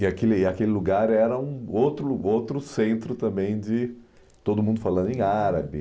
E aquele aquele lugar era um outro outro centro também de todo mundo falando em árabe.